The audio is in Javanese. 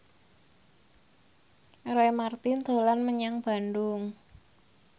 Roy Marten dolan menyang Bandung